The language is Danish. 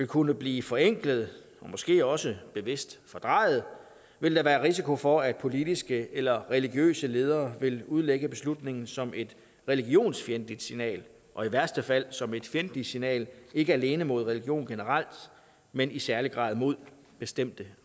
kunne blive forenklet og måske også bevidst fordrejet vil der være risiko for at politiske eller religiøse ledere vil udlægge beslutningen som et religionsfjendtligt signal og i værste fald som et fjendtligt signal ikke alene mod religion generelt men i særlig grad mod bestemte